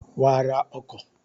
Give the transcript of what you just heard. Wàá ra ọkọ̀